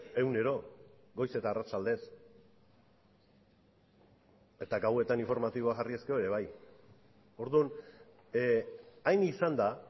egunero goiz eta arratsaldez eta gauetan informatiboa jarriz gero ere bai orduan hain izan da